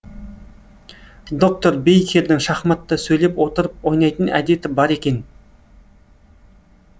доктор бейкердің шахматты сөйлеп отырып ойнайтын әдеті бар екен